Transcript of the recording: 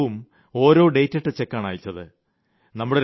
ഓരോ മാസവും ഓരോ ഡേറ്റിട്ട ചെക്കാണ് അയച്ചത്